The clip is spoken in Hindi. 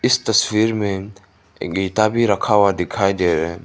इस तस्वीर में गीता भी रखा हुआ दिखाई दे रहा है।